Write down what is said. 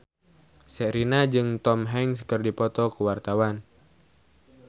Sherina jeung Tom Hanks keur dipoto ku wartawan